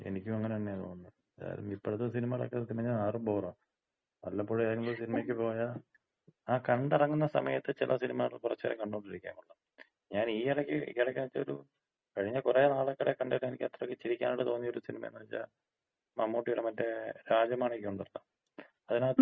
എനിക്കും അങ്ങനെ തന്നെയാ തോന്നുന്നത്. എന്തായാലും ഇപ്പോഴത്തെ സിനിമകളൊക്കെ അറു ബോറാ. വല്ലപ്പോഴും എന്തെങ്കിലും ഒര് സിനിമയ്ക്ക് പോയാ, ആ കണ്ടിറങ്ങുന്ന സമയത്ത് ചെല സിനിമകള് കുറച്ച് നേരം കണ്ടോണ്ടിരിക്കാൻ കൊള്ളാം. ഞാനീ എടക്ക് ഈ ഇടയ്ക്ക് എന്ന് വച്ചാ ഒരു കഴിഞ്ഞ കൊറെ നാള് കഴിഞ്ഞിട്ട് എനിക്ക് ചിരിക്കാനായിട്ട് തോന്നിയൊര് സിനിമേന്ന് വച്ചാ മമ്മൂട്ടീടെ മറ്റെ രാജമാണിക്കം ഒണ്ടല്ലോ.